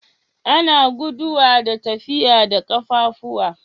Ana guduwa da tafiya da kaffafuwa.